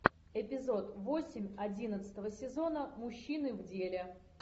эпизод восемь одиннадцатого сезона мужчины в деле